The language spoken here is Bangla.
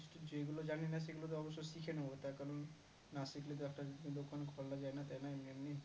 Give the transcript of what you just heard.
যেই গুলো জানি না সেই গুলো তো অবশ্যই শিখে নেবো তার কারণ না শিখলে তো একটা দোকান খোলা যায় না তাই না এমনি এমনি